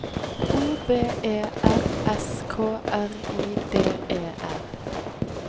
O V E R S K R I D E R